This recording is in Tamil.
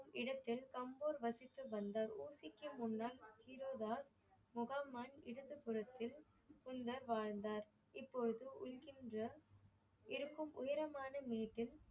இடத்தில் அம்போர் வசித்து வந்தார். ஊட்டிக்கு முன்னாள் முஹாமன் இடது புறத்தில் பின்னர் வாழ்ந்தார். இப்பொழுது இருக்கின்ற இருக்கும் உயரமான மேட்டில்